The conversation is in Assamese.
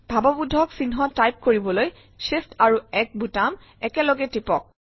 ভাৱবোধক চিহ্ন টাইপ কৰিবলৈ Shift আৰু 1 বুটাম একেলগে টিপক